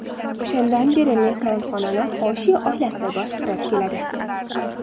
O‘shandan beri mehmonxonani Xoshi oilasi boshqarib keladi.